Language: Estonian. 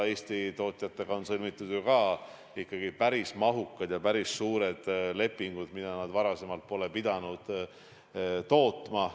Eesti tootjatega on sõlmitud päris mahukad, päris suured lepingud toodangu kohta, mida nad varem pole pidanud tootma.